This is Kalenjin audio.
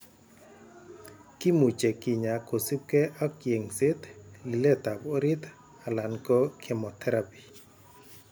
Kimuche kinya kosipke ak yengset, liletap orit, alan ko chemotherapy.